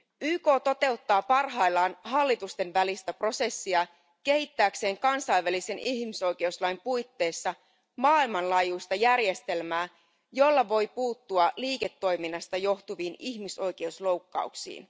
YK toteuttaa parhaillaan hallitusten välistä prosessia kehittääkseen kansainvälisen ihmisoikeuslain puitteissa maailmanlaajuista järjestelmää, jolla voidaan puuttua liiketoiminnasta johtuviin ihmisoikeusloukkauksiin.